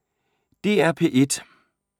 DR P1